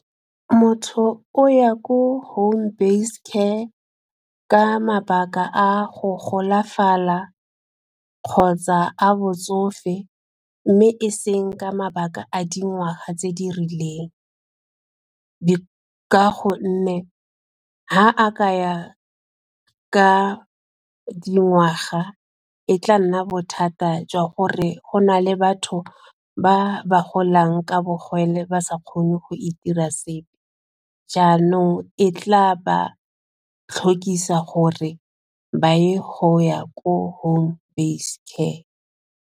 Motho o ya ko home base care ka mabaka a go golafala kgotsa a botsofe mme e seng ka mabaka a dingwaga tse di rileng, ka gonne fa a ka ya ka dingwaga e tla nna bothata jwa gore go na le batho ba ba golang ka bogole ba sa kgone go itira sepe jaanong e tla ba tlhokisa gore ba ye go ya ko home base care.